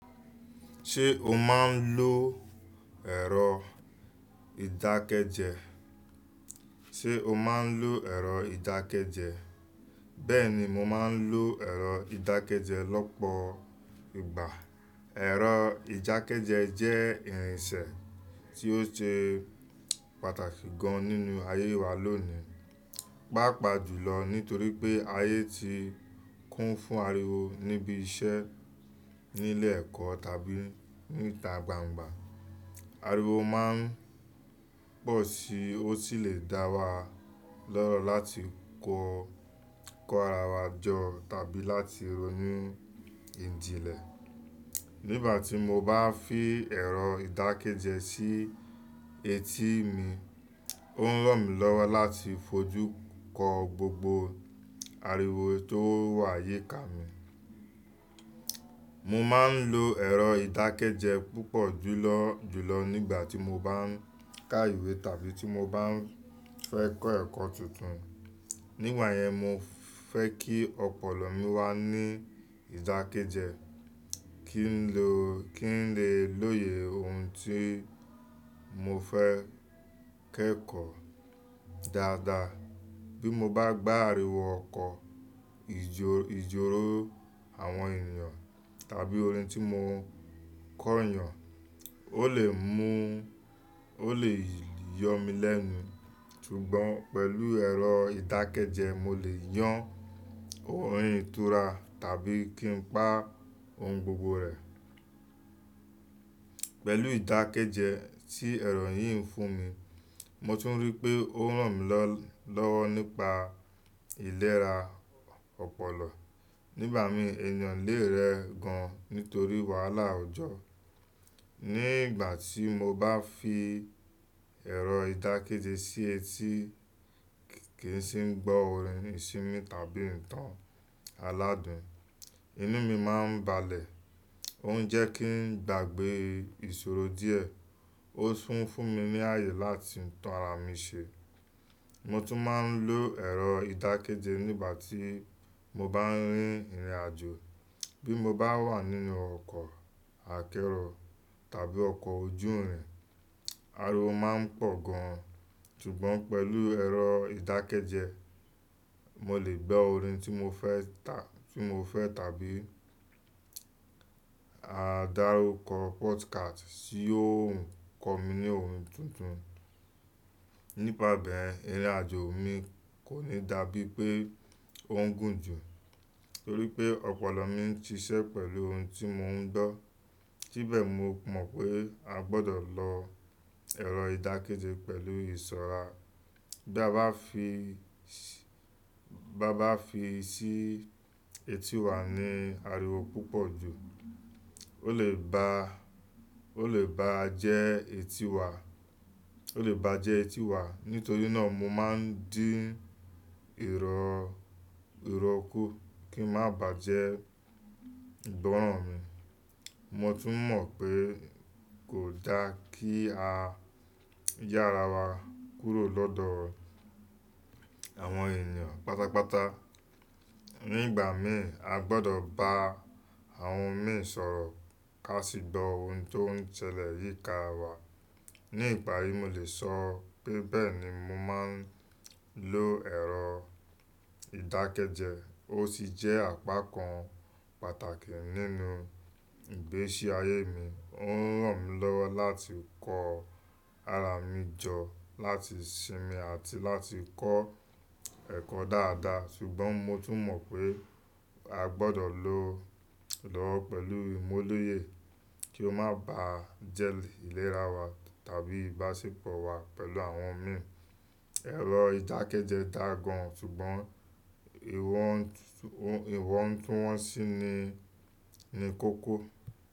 Ṣé o máa n lo ẹ̀rọ ìdákẹ́jẹ́? Ṣé o máa n lo ẹ̀rọ ìdákẹ́jẹ́? Bẹ́ẹ̀ ni, mo máa n lo ẹ̀rọ ìdákẹ́jẹ́ lọ́pọ̀ ìgbà. Ẹ̀rọ ìdákẹ́jẹ́ jẹ́ ìrìnsẹ̀ tí ó ṣe pàtàkì gan nínú ayé wa lónìí, pàápàá jùlọ nítorí pé ayé ti kún fún ariwo níbi iṣẹ́, nílé ẹ̀kọ́ tàbí níta gbangba. Ariwo máa n pọ̀ sí i, ó sì lè dá wa lọ́rọ̀ láti kọ, kọ ara wa jọ tàbí láti ronú ìjìnlẹ̀. Nígbà tí mo bá fi ẹ̀rọ ìdákẹ́jẹ́ sí etí mi, ó ń ràn mí lọ́wọ́ láti fojú kọ gbogbo ariwo tó wà yíká mi. Mo máa n lo ẹ̀rọ ìdákẹ́jẹ́ púpọ̀ júlọ́, jùlọ nígbà tí mo bá n ka ìwé tàbí tí mo bá ń fẹ́ kọ́ ẹ̀kọ́ tuntun. Nígbà yẹn, mo fẹ́ kí ọpọlọ mi wá ní ìdákẹ́jẹ́, kí n lo, kí n lè lóye ohun tí mo fẹ́ kẹ́kọ̀ọ́ dáadáa. Bí mo bá gbá ariwo ọkọ̀, ìjọ̀, ìjọ̀ró àwọn ènìyàn tàbí orin tí mo ń kọ́nyàn, ó lè mú, ó lè yọ́ mi lẹ́nu. Ṣùgbọ́n pẹ̀lú ẹ̀rọ ìdákẹ́jẹ́, mo lè yàn orin ìtura tàbí kí n pa ohun gbogbo rẹ̀. Pẹ̀lú ìdákẹ́jẹ́ tí ẹ̀rọ yìí ń fún mi, mo tún rí pé ó ń ràn mí lọ́, lọ́wọ́ nípa ìlera ọpọlọ. Nígbà mìíràn, ènìyàn lè rẹ gan nítorí wàhálà ọjọ́. Ní ìgbà tí mo bá fi ẹ̀rọ ìdákẹ́jẹ́ sí etí, kì í sì ń gbọ́ orin ìsinmi tàbí ìtàn aládùn, inú mi máa ń balẹ̀. Ó ń jẹ́ kí n gbàgbé ìṣòro díẹ̀. Ó tún fún mi ní àyè láti tun ara mi ṣe. Mo tún máa n lo ẹ̀rọ ìdákẹ́jẹ́ nígbà tí mo bá ń rin ìrìnàjò. Bí mo bá wà nínú ọkọ̀ akẹ́rọ̀ tàbí ọkọ̀ ojú irin, ariwo máa ń pọ̀ gan. Ṣùgbọ́n pẹ̀lú ẹ̀rọ ìdákẹ́jẹ́, mo lè gbo orin tí mo fẹ́ ta, tí mo fẹ́ tàbí àdárùkọ podcast tí yóò ń kọ́ mi ní ohun tuntun. Nípa bẹ́ẹ̀, ìrìnàjò mi kò ní dà bí pé ó ń gùn jù, torí pé ọpọlọ mi ń ṣiṣẹ́ pẹ̀lú ohun tí mo ń gbọ́. Síbẹ̀ mo mọ̀ pé a gbọdọ̀ lo ẹ̀rọ ìdákẹ́jẹ́ pẹ̀lú ìṣọ́ra. Bí a bá fi, bí a bá fi sí etí wa ní ariwo púpọ̀ jù, ó lè ba, ó lè bá jẹ́ etí wa, ó lè bá jẹ́ etí wa. Nítorí náà mo máa ń dín ìrọ, ìrọ́ kú kí má bà jẹ́ ìgbọ́ràn mi. Mo tún mọ̀ pé kò dá kí a yà ara wa kúrò lọ́dọ̀ àwọn ènìyàn pátápátá. Nígbà mìíràn, a gbọdọ̀ bá àwọn mìíràn sọ̀rọ̀ ká sì gbọ́ ohun tó ń ṣẹlẹ̀ yíká wa. Ní ìparí, mo lè sọ pé bẹ́ẹ̀ ni mo máa n lo ẹ̀rọ ìdákẹ́jẹ́. Ó sì jẹ́ àpá kan pàtàkì nínú ìgbésí ayé mi. Ó ń ràn mí lọ́wọ́ láti kọ ara mi jọ, láti sinmi àti láti kọ́ ẹ̀kọ́ dáadáa. Ṣùgbọ́n mo tún mọ̀ pé a gbọdọ̀ lo lọ́wọ́ pẹ̀lú imúlóye kí ó má bá jẹ́ ìlera wa tàbí ìbáṣepọ̀ wa pẹ̀lú àwọn mìíràn. Ẹ̀rọ ìdákẹ́jẹ́ dá gan, ṣùgbọ́n ìwọ̀n, ìwọ̀ń túwọ́n sí i ni, ni kókó.